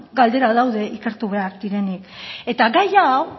galdera daude ikertu behar direnik eta gai hau